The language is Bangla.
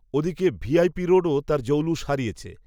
ও দিকে ভি আই পি রোডও তার জৌলুস হারিয়েছে